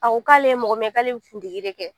A ko k'ale ye mɔgɔ min ye k'ale bɛ kundigi de kɛ